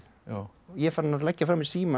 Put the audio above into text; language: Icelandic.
ég er farinn að leggja frá mér símann